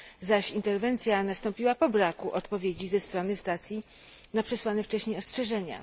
zaś interwencja nastąpiła po braku odpowiedzi ze strony stacji na przesłane wcześniej ostrzeżenia.